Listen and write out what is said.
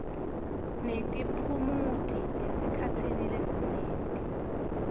netiphumuti esikhatsini lesinyenti